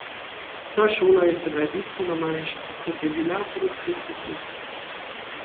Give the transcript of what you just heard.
Ta šola je sedaj bistveno manjša, kot je bila pred desetletji.